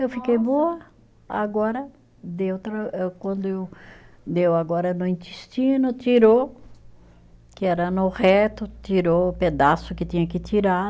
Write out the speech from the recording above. Eu fiquei boa, agora deu tra, quando eu, deu agora no intestino, tirou, que era no reto, tirou o pedaço que tinha que tirar.